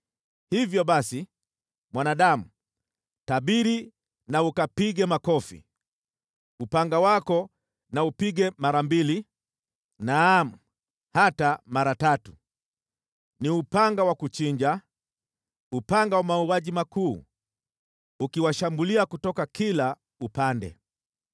“Hivyo basi, mwanadamu, tabiri na ukapige makofi. Upanga wako na upige mara mbili, naam, hata mara tatu. Ni upanga wa kuchinja, upanga wa mauaji makuu, ukiwashambulia kutoka kila upande.